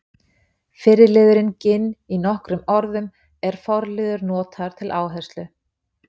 fyrri liðurinn ginn í nokkrum orðum er forliður notaður til áherslu